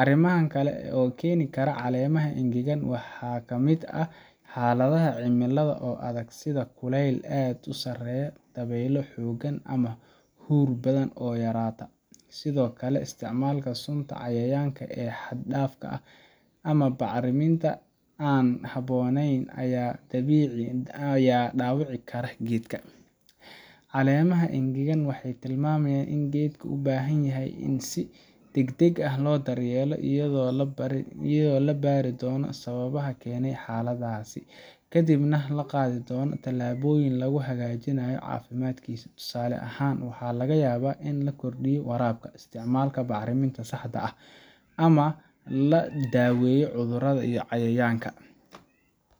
Arrimaha kale ee keeni kara caleemaha engegan waxaa ka mid ah xaaladaha cimilada oo adag, sida kulayl aad u sarreeya, dabeylo xooggan, ama huur badan oo yaraata. Sidoo kale, isticmaalka sunta cayayaanka ee xad dhaafka ah ama bacriminta aan habboonayn ayaa dhaawici kara geedka. Caleemaha engegan waxay tilmaamayaan in geedka u baahan yahay in si degdeg ah loo daryeelo, iyadoo la baari doono sababaha keenay xaaladdaas, kadibna la qaadi doono tallaabooyin lagu hagaajinayo caafimaadkiisa. Tusaale ahaan, waxaa laga yaabaa in la kordhiyo waraabka, isticmaalka bacriminta saxda ah, ama la daweeyo cudurrada iyo cayayaanka.